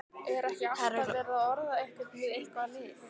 Er ekki alltaf verið að orða einhvern við eitthvað lið?